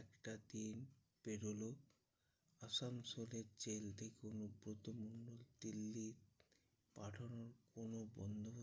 একটা দিন পেরোলো আসানসোলের জেল থেকে অনুব্রত মন্ডল দিল্লি পাঠানোর কোনো বন্দোবস্ত